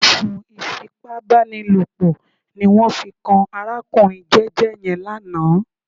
Ẹ̀sùn ìfipábánilòpọ̀ ní wọ́n fi kan arákùnrin jẹ́jẹ́ yẹn lánàá